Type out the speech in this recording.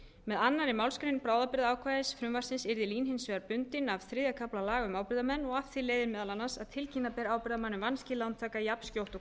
með annarri málsgrein bráðabirgðaákvæðisins frumvarpsins yrði lín hins vegar bundinn af reglum þriðja kafla laga um ábyrgðarmenn af því leiðir meðal annars að tilkynna ber ábyrgðarmanni um vanskil lántaka jafnskjótt og